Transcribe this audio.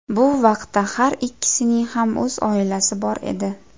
Bu vaqtda har ikkisining ham o‘z oilasi bor edi.